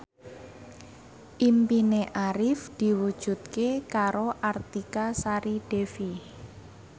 impine Arif diwujudke karo Artika Sari Devi